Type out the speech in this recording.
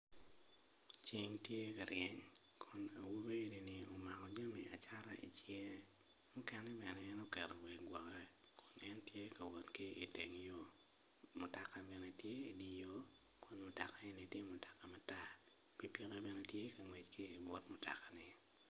Ceng tye ka ryeny kun awobi eni omako jami acata icinge mukene bene en oketo obedo woko en tye kawot ki iteng yo mutoka bene tye idye yo mutoka eni tye mutoka matar pikipiki bene tye kangwec ki but mutokani.